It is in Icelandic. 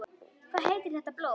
Hvað heitir þetta blóm?